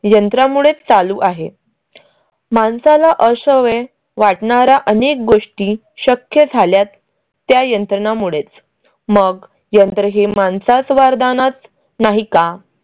यंत्रा मुळे चालू आहे. माणसाला अश्यावेड वाटणाऱ्या अनेक गोष्टी शक्य झाल्यात त्या यंत्रणामुळेच मग यंत्र हे माणसाचं वरदानच नाही का?